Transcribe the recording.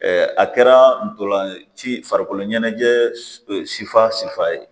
a kɛra ntolan ci farikolo ɲɛnajɛ sifa sifa ye